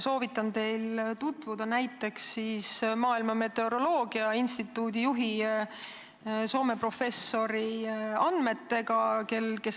Soovitan teil tutvuda näiteks Maailma Meteoroloogia Organisatsiooni juhi, Soome professori andmetega.